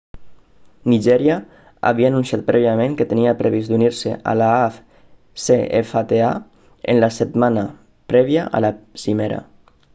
nigèria havia anunciat prèviament que tenia previst d'unir-se a l'afcfta en la setmana prèvia a la cimera